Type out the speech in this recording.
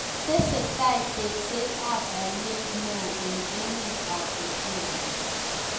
Tesetai tekset ap aineet neo eng emet AP Ethiopia